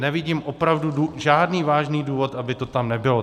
Nevidím opravdu žádný vážný důvod, aby to tam nebylo.